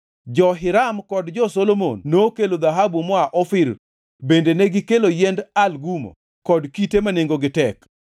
(Jo-Hiram kod jo-Solomon nokelo dhahabu moa Ofir bende negikelo yiend Algumo kod kite ma nengogi tek.